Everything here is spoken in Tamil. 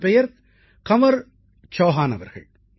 அவர் பெயர் கன்வர் சௌஹான் அவர்கள்